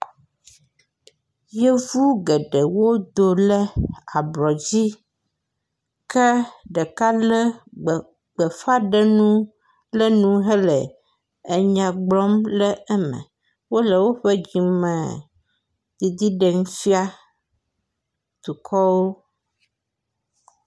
yovu geɖe wo do le abrɔdzi ke ɖeka le gbefa ɖenu ɖe nu hele enya gblɔm le eme wóle woƒe dzime dzidzi ɖem fia dukɔɔ